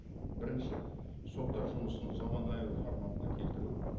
бірінші соттар жұмысын форматына келтіру